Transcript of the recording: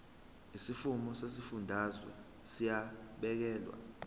izimfuno zezifundazwe ziyabhekelelwa